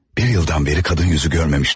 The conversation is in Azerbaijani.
Bir ildən bəri qadın üzü görməmişdim.